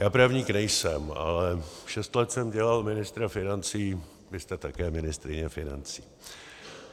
Já právník nejsem, ale šest let jsem dělal ministra financí, vy jste také ministryně financí.